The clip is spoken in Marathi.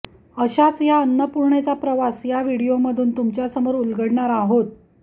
अशाच या अन्नपूर्णेचा प्रवास या व्हिडीओमधून तुमच्यासमोर उलगडणार आहोत